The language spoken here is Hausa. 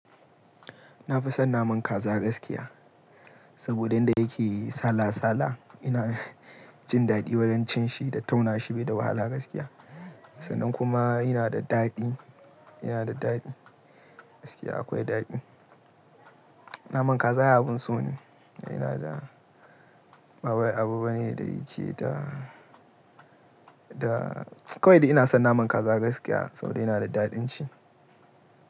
Na fi son naman kaza gaskiya. Saboda yadda yake sala sala ina jin daɗi wurin cin shi da tauna shi bai da wahala gaskiya. Sa'nan kuma yana da daɗi, yana da daɗi gaskiya akwai daɗi. Naman kaza ai abun so ne ina da. Ba wai abu bane da yake da, da kawai dai son naman kaza gaskiya saboda yana da daɗin ci.